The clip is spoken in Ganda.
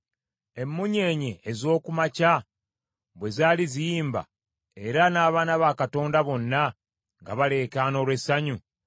Emunyeenye ez’oku makya bwe zaali ziyimba, era n’abaana ba Katonda bonna nga baleekaana olw’essanyu,